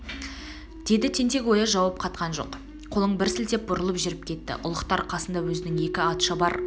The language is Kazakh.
деді тентек-ояз жауап қатқан жоқ қолын бір сілтеп бұрылып жүріп кетті ұлықтар қасында өзінің екі атшабар